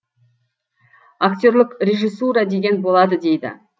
актерлік режиссура деген болады дейді